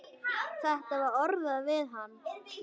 Þetta var orðað við hann.